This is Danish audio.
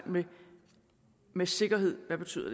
hvad med sikkerhed betyder